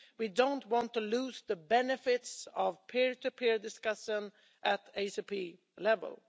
We don't want to lose the benefits of peer to peer discussions at ACP level.